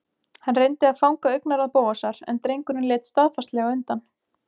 Hann reyndi að fanga augnaráð Bóasar en drengurinn leit staðfastlega undan.